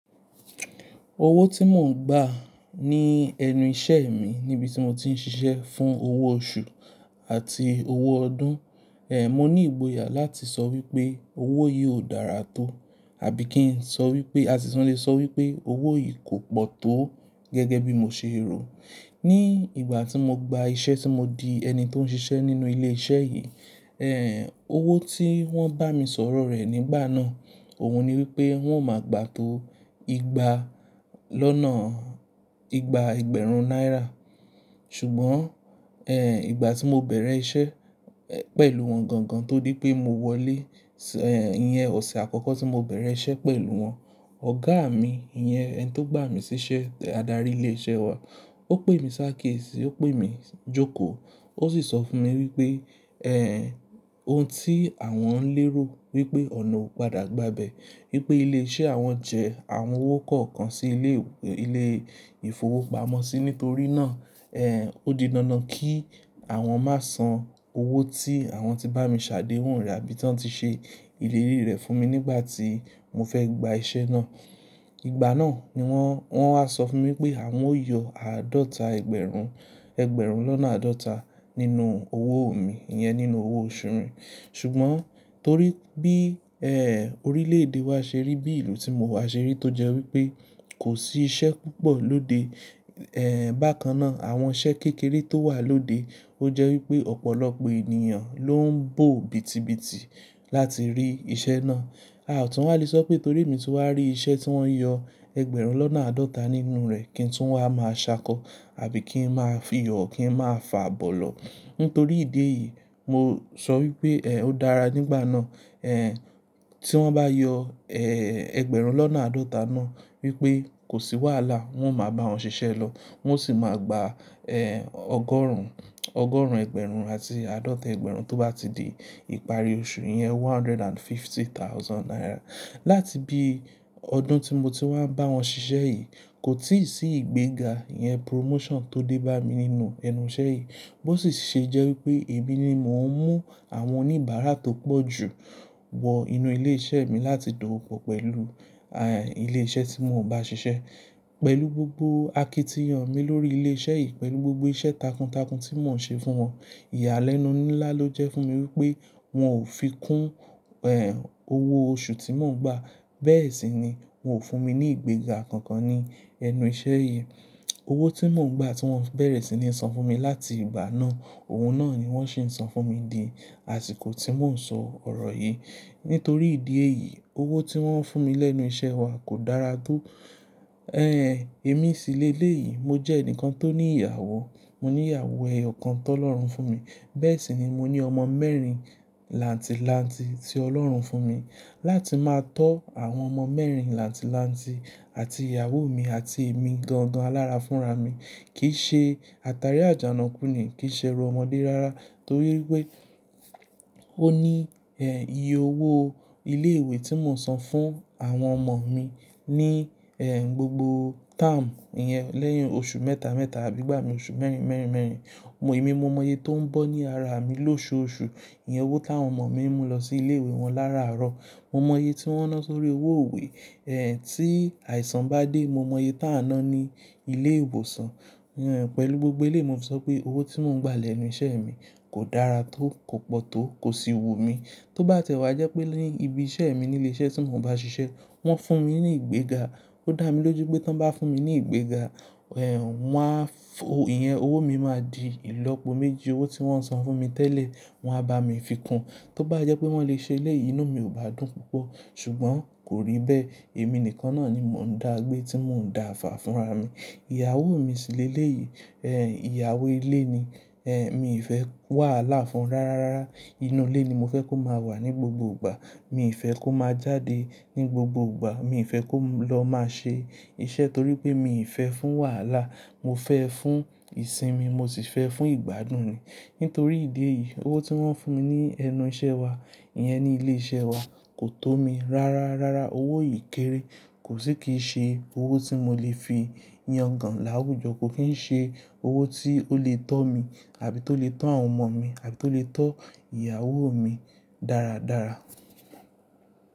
Owó tí mò ń gbà ní ẹnu iṣẹ́ mi níbi tí mo ti ń ṣiṣẹ́ fún owó oṣù àti owó ọdún. Ehn, mo ní ìgboyà láti sọ wípé owó yìí ó dára tó àbí kí n sọ wípé, àsi tun lè sọ wípé owó yìí kò pọ̀ tó gẹ́gẹ́ bí mo ṣe rò. Ni ìgbà tí mo gba iṣẹ́ tí mo di ẹni tó ń ṣiṣẹ́ nínú ilé iṣẹ́ yìí, ehn, owó tí wọ́n bá mi sọ̀rọ̀ rẹ̀ nígbà náà, òun ni wípé wọ́n ó máa gbà to igba lọ́nà, igba ẹgbẹ̀rún náírà. Ṣùgbọ́n, ehn, ìgbà tí mo bẹ̀rẹ̀ iṣẹ́, eh, pẹ̀lú wọn gangan tó dí pé mo wọlé, ehn, ìyẹn ọ̀sẹ̀ àkọ́kọ́ tí mo bẹ̀rẹ̀ iṣẹ́ pẹ̀lú wọn, ọ̀gá mi, ìyẹn ẹni tó gbà mí síṣẹ́, adarí ilé iṣẹ́ wa, ó pè mi sákiéèsì, ó pè mí jókòó, ó sì sọ fún mi wípé, ehn, ohun tí àwọn ń lérò wípé ọ̀nà ó padà gba bẹ̀. Wípé ilé iṣẹ́ àwọn jẹ àwọn owó kọ̀ọ̀kan sí ilé, ilé ìfowópamọ́sí nítorí náà, ehn, ó didándán kí àwọn má san owó tí àwọn ti bá mi ṣàdéwun re àbí tí wọ́n ti ṣe ìlérí rẹ̀ fún mi nígbà tí mo fẹ́ gba iṣẹ́ náà. Ìgbà náà ni wọ́n, wọ́n wá sọ fún mi pé àwọn yóò yọ àádọ́ta ẹgbẹ̀rún, ẹgbẹ̀rún lọ́nà àádọ́ta nínú owó mi, ìyẹn nínú owó oṣù mi. Ṣùgbọ́n torí bí, ehn, orílẹ̀ èdè wa ṣe rí, bí ìlú tí mo wà ṣe rí tó jẹ́ wípé kò sí iṣẹ́ púpọ̀ lóde, ehn, bákan náà àwọn iṣẹ́ kékeré tó wà lóde ó jẹ́ wípé ọ̀pọ̀lọpọ̀ ènìyàn ló ń bò bítibíti láti rí iṣẹ́ náà. A ò tún wa lè sọ pé torí èmi ti wá rí iṣẹ́ tí wọ́n ń yọ ẹgbẹ̀rún lọ́nà àádọ́ta nínú rẹ̀ kí n tún wá máa ṣákọ́ àbí kí n máa fiyọ̀ kí n máa fàa bọ̀ lọ. Nítorí ìdí èyí, mo sọ wípé, ehn, ó dára nígbà náà, ehn, tí wọ́n bá yọ, ehn, ẹgbẹ̀rún lọ́nà àádọ́ta náà wípé kò sí wàhálà, wọ́n máa bá wọn ṣiṣẹ́ lọ. Wọ́n sì máa gba, ehn, ọgọ́rùn-ún, ọgọ́rùn-ún ẹgbẹ̀rún àti àádọ́ta ẹgbẹ̀rún tó bá ti di ìparí oṣù yi Ìyẹn one hundred and fifty thousand naira. Láti bí ọdún tí mo n ti wá ń bá wọn ṣiṣẹ́ yìí kò tíì sí ìgbéga, ìyẹn promotion tó dé bá mi nínú ẹnu iṣẹ́ yìí. Bó sì ṣe jẹ́ wípé èmi ni mò ń mú àwọn oníbàárà tó pọ̀ ju wọ inú ilé iṣẹ́ mi láti dòwopò pẹ̀lú, ah, ilé iṣẹ́ tí mò ń bá ṣiṣẹ́. Pẹ̀lú gbogbo akitiyan mi lórí ilé iṣẹ́ yìí, pẹ̀lú gbogbo iṣẹ́ takuntakun tí mò ń ṣe fún wọn, ìyàlẹ́nu ńlá ló jẹ́ fún mi wípé wọn ò fi kún, ehn, owó oṣù tí mò ń gbà. Bẹ́ẹ̀ sì ni wón ò fún mi ní ìgbéga kankan ní ẹnu iṣẹ́ yìí. Owó tí mò ń gbà tí wọ́n bẹ̀rẹ̀ sí ní san fún mi láti ìgbà náà, òun náà ni wọ́n sì ń san fún mi di àsìkò tí mò ń sọ ọ̀rọ̀ yìí. Nítorí ìdí èyí, owó tí wọ́n ń fún mi lẹ́nu iṣẹ́ wa kò dára tó. Ehn, èmi síleléyìí, mo jẹ́ ẹnìkan tó ní ìyàwó. Mo ní ìyàwó eyokan tó lọ́rùn fún mi. Bẹ́ẹ̀ sì ni mo ní ọmọ mẹ́rin làǹtìlanti tí Ọlọ́run fún mi. Láti máa tó àwọn ọmọ mẹ́rin làǹtìlanti àti ìyàwó mi àti èmi gan-gan alára fúnra mi kì í ṣe àtàrí àjànàkú ni, kì í ṣe ẹrú ọmọdé rárá torí wipé ó ní, ehn, iye owó ilé ìwé tí mò ń san fún àwọn ọmọ mi ní, ehn, gbogbo táàmù ìyẹn lẹ́yìn oṣù mẹ́ta mẹ́ta àbí gbà mí oṣù mẹ́rin mẹ́rin mẹ́rin. Bo, èmi mo mọye tó ń bọ́ ní ara mi lóṣooṣù. Ìyẹn owó tí àwọn ọmọ mi ń mú lọ sí ilé ìwé wọn lára àárọ̀. Mo mọye tí wọ́n ná sórí owó iwe. Ehn, tí àìsàn bá dé, mo mọye tá a ná ní ilé ìwòsàn. Ehn, pẹ̀lú gbogbo éleyi mo fì sọ pé owó tí mò ń gbà lẹ́nu iṣẹ́ mi kò dára tó, kò pọ̀ tó, kò sì wù mí. Tó bá tẹ́wá jẹ́ pé ní ibi iṣẹ́ mi ní ilé iṣẹ́ tí mò ń bá ṣiṣẹ́ wọ́n fún mi ní ìgbéga. Ó dà mí lójú pé tí wọ́n bá fún mi ní ìgbéga, ehn, wọ́n fo ìyẹn owó mi máa di ìlọ́po méjì owó tí wọ́n san fún mi tẹ́lẹ̀. Wọn á bá mi fi kún. Tó bá jẹ́ pé wọ́n lè ṣe eleyìí inù mi ò bá dùn púpọ̀. Ṣùgbọ́n kò rí bẹ́ẹ̀. Èmi nìkan náà ni mò ń dàagbé tí mò ń daàfà fúnra mi. Ìyàwó mi síléleyìí. Ehn, ìyàwó ilé ni. Ehn, mi n fẹ́ wàhálà fún rárá rárá. Inú ilé ni mo fẹ́ kó má wà ní gbogbo ìgbà. Mi n fẹ́ kó má jáde ní gbogbo ìgbà. Mi n fẹ́ kó lọ máa ṣe iṣẹ́ torí pé mi n fẹ́ fún wàhálà. Mo fẹ́ fún ìsinmi, mo sì fẹ́ fún ìgbádùn ni. Nítorí ìdí èyí, owó tí wọ́n ń fún mi ní ẹnu iṣẹ́ wa, ìyẹn ní ilé iṣẹ́ wa kò tó mi. Rárá, rárá owó yìí kéré. Kò sì kí í ṣe owó tí mo lè fi yan gan láwùjọ. Kò kìn ṣe owó tí ó lè tọ́ mi àbí tó lè tọ́ àwọn ọmọ mi àbí tó lè tọ́ ìyàwó mi dáradára.